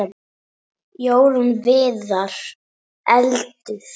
Jórunn Viðar: Eldur.